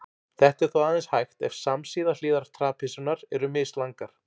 Þetta er þó aðeins hægt ef samsíða hliðar trapisunnar eru mislangar.